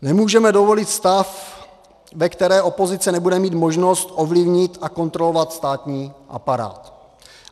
Nemůžeme dovolit stav, ve kterém opozice nebude mít možnost ovlivnit a kontrolovat státní aparát.